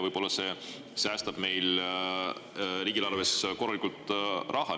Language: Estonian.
Võib-olla see säästab meil riigieelarves korralikult raha.